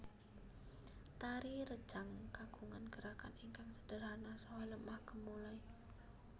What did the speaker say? Tari rejang kagungan gerakan ingkang sederhana saha lemah gemulai